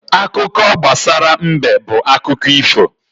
Akụkọ gbasara mbe bụ akụkọ ifo.